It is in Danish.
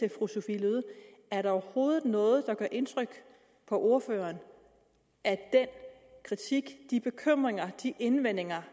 er der overhovedet noget der gør indtryk på ordføreren af den kritik de bekymringer de indvendinger